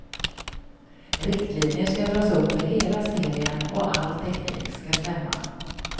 Riktlinjer ska dras upp för hela serien och all teknik ska stämma.